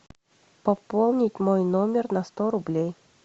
пополнить мой номер на сто рублей